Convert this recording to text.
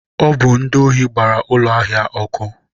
Ọ bụ ndị ohi gbara ụlọ ahịa ọ́kụ́.